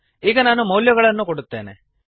ಈಗ ನಾನು ಮೌಲ್ಯಗಳನ್ನು ಕೊಡುತ್ತೇನೆ